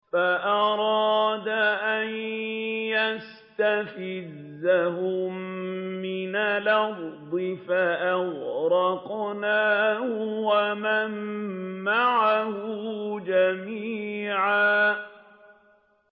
فَأَرَادَ أَن يَسْتَفِزَّهُم مِّنَ الْأَرْضِ فَأَغْرَقْنَاهُ وَمَن مَّعَهُ جَمِيعًا